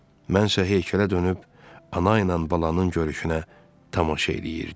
Mən isə heykələ dönüb ana ilə balanın görüşünə tamaşa eləyirdim.